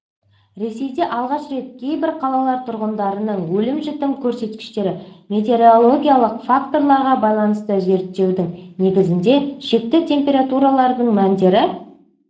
ресейде алғаш рет кейбір қалалар тұрғындарының өлім-жітім көрсеткіштері метеорологиялық факторларға байланысты зерттеудің негізінде шекті температуралардың мәндері